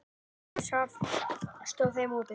Grænlandshaf stóð þeim opið.